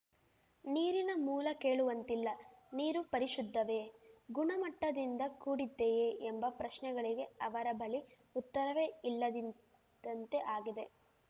ನೀರಿನ ಮೂಲ ಕೇಳುವಂತಿಲ್ಲ ನೀರು ಪರಿಶುದ್ಧವೇ ಗುಣಮಟ್ಟದಿಂದ ಕೂಡಿದ್ದೇಯೇ ಎಂಬ ಪ್ರಶ್ನೆಗಳಿಗೆ ಅವರ ಬಳಿ ಉತ್ತರವೇ ಇಲ್ಲದಿದ್ದಂತೆ ಆಗಿದೆ